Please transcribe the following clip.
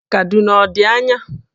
Kaduna ọ dị anya?